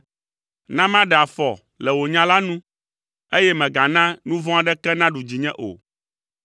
Na maɖe afɔ le wò nya la nu, eye mègana nu vɔ̃ aɖeke naɖu dzinye o.